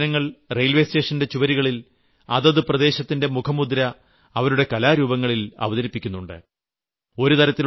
തദ്ദേശീയരായ ജനങ്ങൾ റെയിൽവേ സ്റ്റേഷന്റെ ചുവരുകളിൽ അതത് പ്രദേശത്തിന്റെ മുഖമുദ്ര അവരുടെ കലാരൂപങ്ങളിൽ അവതരിപ്പിക്കുന്നുണ്ട്